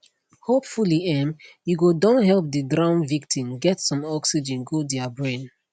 hopefully um you go don help di drown victim get some oxygen go dia brain